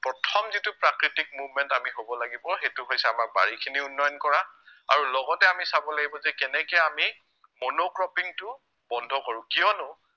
প্ৰথম যিটো প্ৰাকৃতিক movement আমি কব লাগিব সেইটো হৈছে আমাৰ বাৰিখিনি উন্নয়ন কৰা আৰু লগতে আমি চাব লাগিব যে কেনেকে আমি monocropping টো বন্ধ কৰো কিয়নো